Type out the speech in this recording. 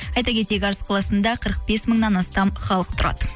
айта кетейік арыс қаласында қырық бес мыңнан астам халық тұрады